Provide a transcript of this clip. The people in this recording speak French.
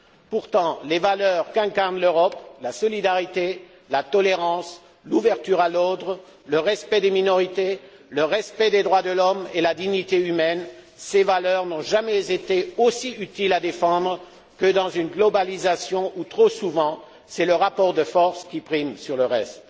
Pourtant, les valeurs qu'incarne l'Europe, la solidarité, la tolérance, l'ouverture à l'autre, le respect des minorités, le respect des droits de l'homme et la dignité humaine, ces valeurs n'ont jamais été aussi utiles à défendre que dans une mondialisation où, trop souvent, c'est le rapport de force qui prime le reste.